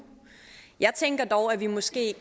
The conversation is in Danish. jeg tænker dog at vi måske